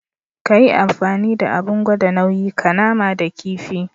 Kayi amfani da Abin gwada nauyi ka nama da kifi.